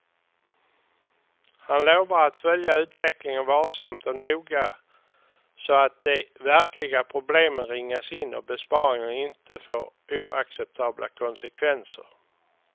Han lovar att följa utvecklingen varsamt och noga så att de verkliga problemen ringas in, och besparingarna inte får oacceptabla konsekvenser.